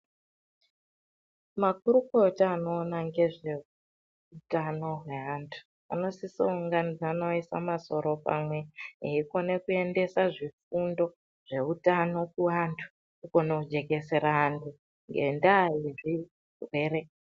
Makurukota anoona nfezveutano hwevantu anosiso kuunganidzana oise masoro pamwe eikone kuendesa zvifundo zveutano kuantu kunohekesera antu ngendaa nezvirwere.